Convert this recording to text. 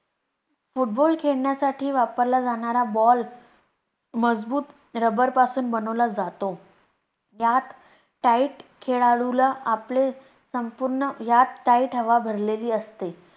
football खेळण्यासाठी वापरला जाणारा ball मजबूत rubber पासून बनवला जातो, यात Tight खेळlडू ला आपले संपूर्ण यात tight हवा भरलेली असते.